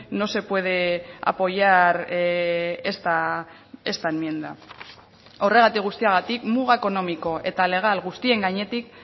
no se puede apoyar esta enmienda horregatik guztiagatik muga ekonomiko eta legal guztien gainetik